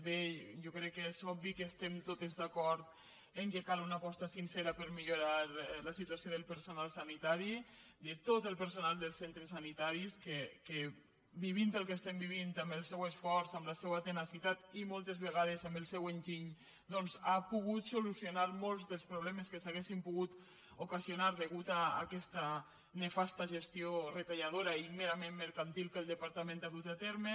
bé jo crec que és obvi que estem totes d’acord que cal una aposta sincera per millorar la situació del perso·nal sanitari de tot el personal dels centres sanitaris que vivint el que estem vivint amb el seu esforç amb la seua tenacitat i moltes vegades amb el seu enginy doncs han pogut solucionar molts dels problemes que s’haurien pogut ocasionar a causa d’aquesta nefasta gestió retalladora i merament mercantil que el depar·tament ha dut a terme